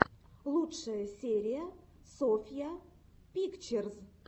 лучшая серия софья пикчерз